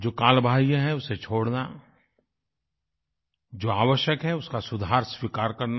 जो कालबाह्य है उसे छोड़ना जो आवश्यक है उसका सुधार स्वीकार करना